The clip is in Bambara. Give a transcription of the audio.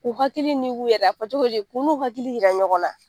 K'u hakili yɛrɛ la . A bi fɔ cogo di k'u n'u hakili yira ɲɔgɔn na.